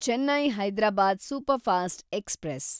Chennai Hyderabad superfast express